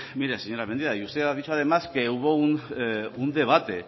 mire señora mendia y usted ha dicho además que hubo un debate